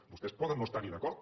vostès poden no estar hi d’acord